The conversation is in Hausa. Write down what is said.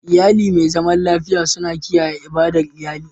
Iyali mai zaman lafiya suna kiyaye ibadar iyali.